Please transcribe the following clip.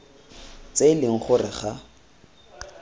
tse e leng gore ga